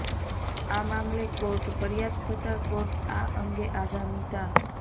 આ મામલે કોર્ટ ફરીયાદ થતા કોર્ટ આ અંગે આગામી તા